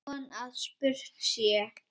Von að spurt sé.